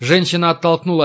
женщина оттолкнула